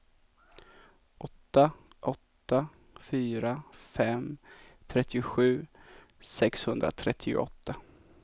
åtta åtta fyra fem trettiosju sexhundratrettioåtta